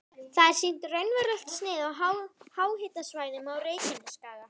Þar er sýnt raunverulegt snið af háhitasvæðunum á Reykjanesskaga.